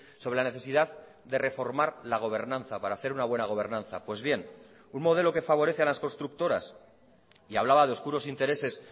sobre la necesidad de reformar la gobernanza para hacer una buena gobernanza pues bien un modelo que favorece a las constructoras y hablaba de oscuros intereses